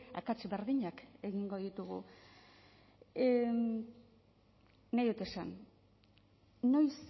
akats berdinak egingo ditugu nahi dut esan noiz